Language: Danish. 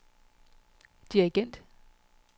dirigent